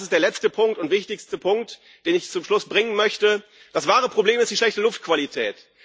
Das ist der letzte und wichtigste Punkt, den ich zum Schluss bringen möchte Das wahre Problem ist die schlechte Luftqualität.